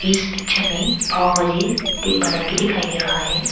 इस पिक्चर में पाव भाजी तीन बना के दिखाई दे रहा है।